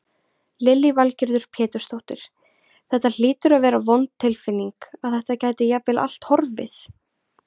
Lillý Valgerður Pétursdóttir: Þetta hlýtur að vera vond tilfinning að þetta gæti jafnvel allt horfið?